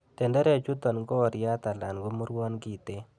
Tenderechuton ko oriat alan komurwon kiten.